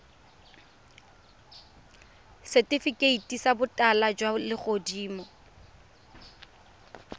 setifikeiti sa botala jwa legodimo